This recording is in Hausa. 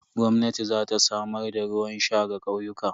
Gwamnati za ta samar da ruwan sha ga ƙauyuka.